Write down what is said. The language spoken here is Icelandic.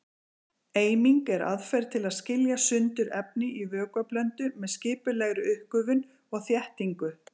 Eiming er aðferð til að skilja sundur efni í vökvablöndu með skipulegri uppgufun og þéttingu.